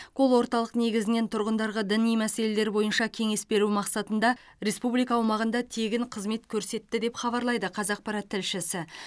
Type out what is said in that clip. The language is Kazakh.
кол орталық негізінен тұрғындарға діни мәселелер бойынша кеңес беру мақсатанда республика аумағында тегін қызмет көрсетті деп хабарлайды қазақпарат тілшісі